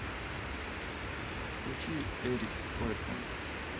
включи эрик клэптон